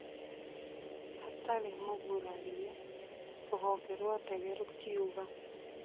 Atari mũgurarie rũhonge rwa ndege rũkiuga,